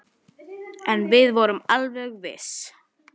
Hún hafði dálæti á köttum.